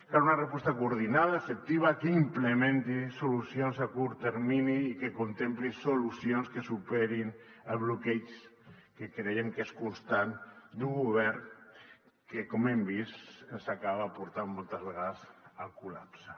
cal una resposta coordinada efectiva que implementi solucions a curt termini i que contempli solucions que superin el bloqueig que creiem que és constant d’un govern que com hem vist ens acaba portant moltes vegades al collapse